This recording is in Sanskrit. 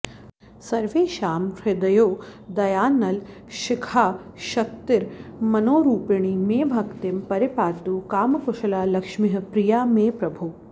सर्वेषां हृदयोदयानलशिखाशक्तिर्मनोरूपिणी मे भक्तिं परिपातु कामकुशला लक्ष्मीः प्रिया मे प्रभो